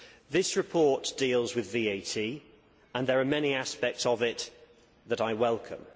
This report deals with VAT and there are many aspects of it that I welcome.